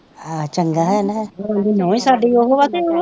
ਹਾਂ ਚੰਗਾ ਹੋਇਆ ਨਾ ਫੇਰ, ਨਹੁੰ ਹੀ ਸਾਡੀ ਉਹ ਹੈ ਤੇ ਉਹ